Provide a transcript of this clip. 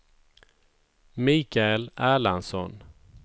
Michael Erlandsson